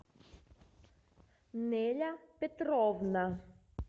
неля петровна